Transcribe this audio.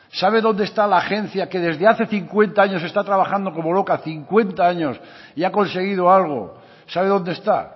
sabe dónde está la agencia que desde hace cincuenta años está trabajando como loca cincuenta años y ha conseguido algo sabe dónde está